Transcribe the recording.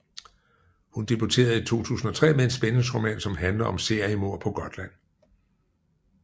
Hun debuterede 2003 med en spændingsroman som handler om seriemord på Gotland